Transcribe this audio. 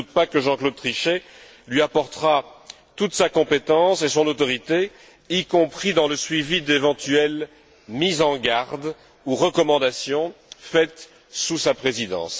Je ne doute pas que Jean Claude Trichet lui apportera toute sa compétence et son autorité, y compris dans le suivi d'éventuelles mises en garde ou recommandations faites sous sa présidence.